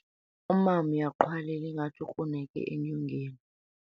Umama uyaqhwalela ngathi ukruneke enyongeni.